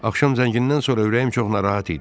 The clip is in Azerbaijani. Axşam zəngindən sonra ürəyim çox narahat idi.